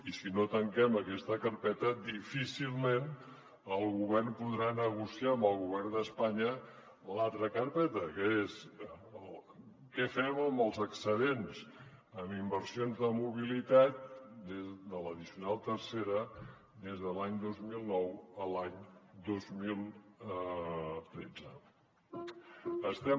i si no tanquem aquesta carpeta difícilment el govern podrà negociar amb el govern d’espanya l’altra carpeta que és què fem amb els excedents en inversions de mobilitat de l’addicional tercera des de l’any dos mil nou a l’any dos mil tretze